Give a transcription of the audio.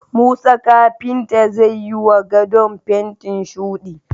Musa kafinta zai wa gadon fentin shuɗi